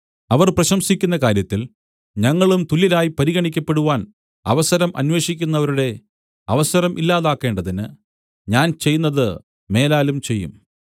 അവർ പ്രശംസിക്കുന്ന കാര്യത്തിൽ ഞങ്ങളും തുല്യരായി പരിഗണിക്കപ്പെടുവാൻ അവസരം അന്വേഷിക്കുന്നവരുടെ അവസരം ഇല്ലാതാക്കേണ്ടതിന് ഞാൻ ചെയ്യുന്നത് മേലാലും ചെയ്യും